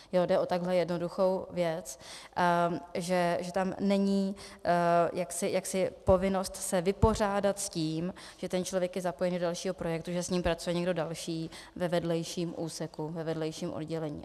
Jde o takhle jednoduchou věc, že tam není povinnost se vypořádat s tím, že ten člověk je zapojen do dalšího projektu, že s ním pracuje někdo další ve vedlejším úseku, ve vedlejším oddělení.